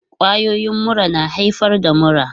Kwayoyin mura na haifar da mura.